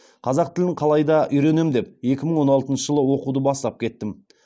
қазақ тілін қалайда үйренем деп екі мың он алтыншы жылы оқуды бастап кеттім